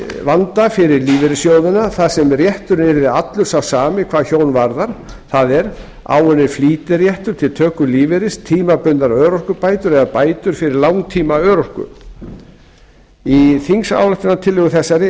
vanda fyrir lífeyrissjóðina þar sem rétturinn yrði allur sá sami hvað hjón varðar það er áunninn flýtiréttur til töku lífeyris tímabundnar örorkubætur eða bætur fyrir langtímaörorku í þingsályktunartillögu þessari